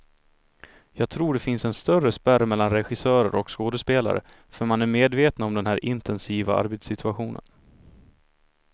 Jag tror det finns en större spärr mellan regissörer och skådespelare, för man är medvetna om den här intensiva arbetssituationen.